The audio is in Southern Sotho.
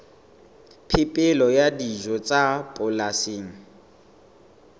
phepelo ya dijo tsa polasing